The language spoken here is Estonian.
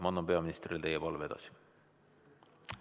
Ma annan peaministrile teie palve edasi.